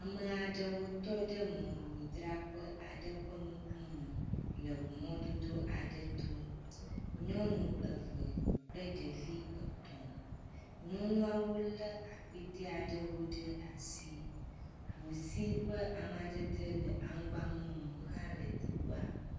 Amea ɖewo tɔ mɔmemidraƒe aɖe ƒe ŋkume, le ŋumɔdodo aɖe to. Nyɔnu eve kple ɖevi etɔ̃. Nyɔnuawo lé akpetea ɖewo ɖe asi. Nu si ƒe amadede le aŋgba mumu hã le teƒea.